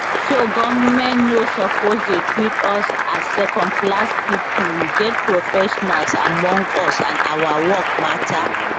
so goment no suppose dey treat us as secondclass pipo we get professionals among us and our work matter